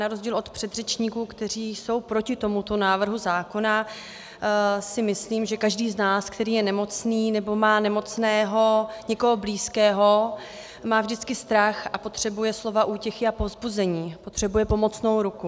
Na rozdíl od předřečníků, kteří jsou proti tomuto návrhu zákona, si myslím, že každý z nás, který je nemocný nebo má nemocného někoho blízkého, má vždycky strach a potřebuje slova útěchy a povzbuzení, potřebuje pomocnou ruku.